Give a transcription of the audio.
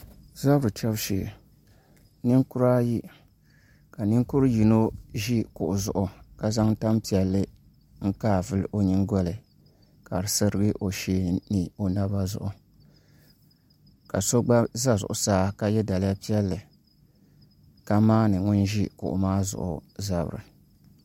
Zabiri chɛbu shee ninkura ayi ka ninkuri yino ʒi kuɣu zuɣu ka zaŋ tanpiɛlli n kai vuli o nyingoli ni ka di sirigi o shee ni o naba zuɣu ka so gba ʒɛ zuɣusaa ka yɛ daliya piɛlli ka maandi ŋun ʒi kuɣu maa zuɣu zabiri